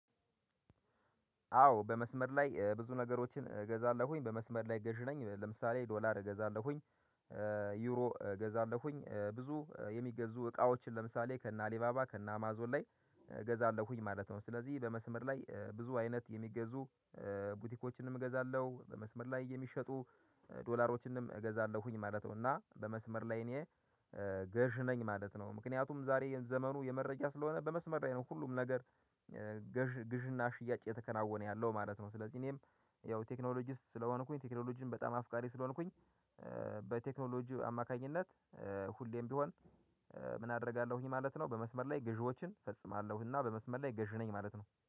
አዎ በመስመር ላይ ብዙ ነገሮችን እገዛለሁኝ በመስመር ላይ ገዢ ነኝ ለምሳሌ ዶላር እገዛለሁኝ ዩሮ እገዛለሁኝ ብዙ የሚገዙ እቃዎችን ለምሳሌ ከእነ አሊባባ ከእነ አማዞን ላይ እገዛለሁኝ ማለት ነው። ስለዚህ በመስመር ላይ ብዙ አይነት የሚገዙ ቡቲኮችንም እገዛለሁ በመስመር ላይ የሚሸጡ ዶላሮችንም እገዛለሁኝ ማለት ነው። እና በመስመር ላይ እኔ ገዥ ነኝ ማለት ነው። ምክንያቱም ዛሬ የዘመኑ የመረጃ ስለሆነ በመስመር ላይ ነው ሁሉም ነገር ገዥ ግዥና ሽያጭ እየተከናወነ ያለው ማለት ነው። ስለዚህ እኔም ያው ቴክኖሎጂ ውስጥ ስለሆንኩኝ ቴክኖሎጂን በጣም አፍቃሪ ስለሆንኩኝ አማካኝነት ሁሌም ቢሆን። ምን? አደርጋለሁኝ ማለት ነው በመስመር ላይ ግዢዎችን እፈጽማለሁና በመስመር ላይ ገዢ ነኝ ማለት ነው።